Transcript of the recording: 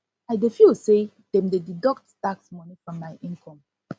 i dey feel say dem dey deduct tax money from my income